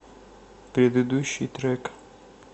предыдущий трек